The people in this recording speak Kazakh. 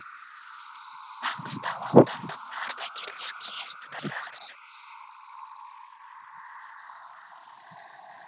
маңғыстау аудандық ардагерлер кеңесінің төрағасы